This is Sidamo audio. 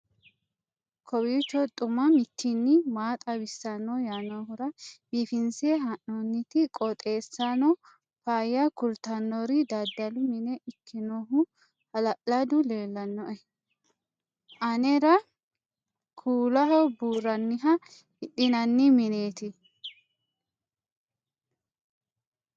kowiicho xuma mtini maa xawissanno yaannohura biifinse haa'noonniti qooxeessano faayya kultannori dadalu mine ikkinohu hala'ladu leellannoe anera kuulaoo buurranniha hidhinanni mineeti